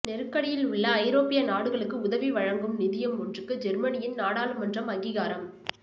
நெருக்கடியில் உள்ள ஐரோப்பிய நாடுகளுக்கு உதவி வழங்கும் நிதியம் ஒன்றுக்கு ஜேர்மனியின் நாடாளுமன்றம் அங்கிகாரம்